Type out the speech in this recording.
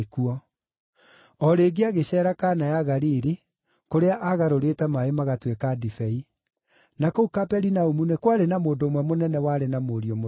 O rĩngĩ agĩceera Kana ya Galili, kũrĩa aagarũrĩte maaĩ magatuĩka ndibei. Na kũu Kaperinaumu nĩ kwarĩ na mũndũ ũmwe mũnene warĩ na mũriũ mũrũaru.